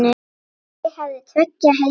Ég hafði tveggja heima sýn.